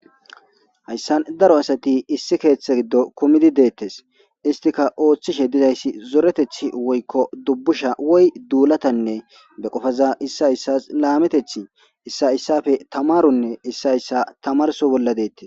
hayssan daro asati issi keeththe giddo kumidi deettes istika ooththishe didayssi zoreteth woykko dubbusha woy duulatanne be qofaza issa issas laameteth issa issafe tamaronne issa issa tamarso bolla deettes